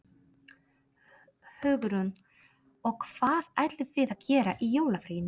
Hugrún: Og hvað ætlið þið að gera í jólafríinu?